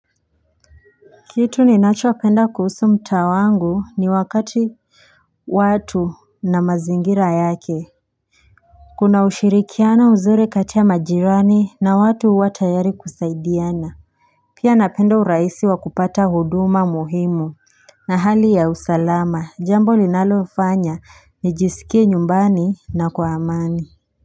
Kitu ninachopenda kuhusu mtaa wangu ni wakati watu na mazingira yake Kuna ushirikiano mzuri kati ya majirani na watu huwa tayari kusaidiana Pia napenda urahisi wa kupata huduma muhimu na hali ya usalama jambo linalofanya nijisikie nyumbani na kwa amani.